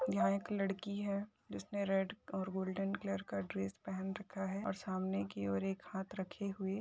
यहाँ एक लड़की है जिसने रेड और गोल्डेन कलर का ड्रेस पहन रखा है और सामने की और एक हात रखे हूए--